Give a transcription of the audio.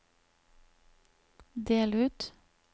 del ut